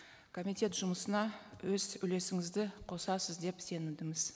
комитет жұмысына өз үлесіңізді қосасыз деп сенімдіміз